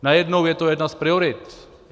Najednou je to jedna z priorit.